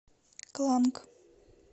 кланг